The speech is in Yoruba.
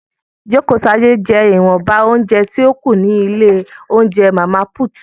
Jokotade jẹ́ ìwọ̀nba óúnjẹ tí ó kù ní ilé óúnjẹ Màmá Put